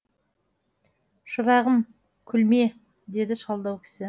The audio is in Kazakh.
шырағым күлме деді шалдау кісі